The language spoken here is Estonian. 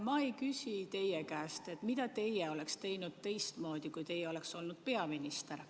Ma ei küsi teie käest, mida teie oleksite teinud teistmoodi, kui teie oleksite olnud peaminister.